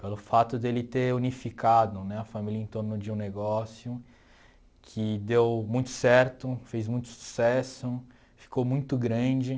Pelo fato de ele ter unificado né a família em torno de um negócio que deu muito certo, fez muito sucesso, ficou muito grande.